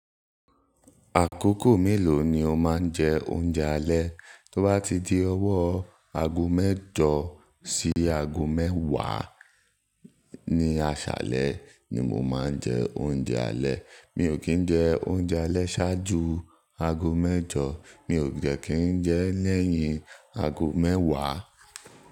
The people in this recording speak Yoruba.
Àkókò mélòó ni o máa ń jẹ oúnjẹ alẹ́? Tó bá ti di ọwọ́ aago mẹ́jọ sí aago mẹ́wàá ní àṣálẹ́ ni mo máa ń jẹ oúnjẹ alẹ́. Mi ò kí ń jẹ oúnjẹ alẹ́ ṣáájú aago mẹ́jọ, mi ò dé kí ń jẹ ẹ́ lẹ́yìn aago mẹ́wàá.